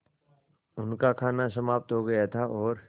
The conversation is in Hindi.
उनका खाना समाप्त हो गया था और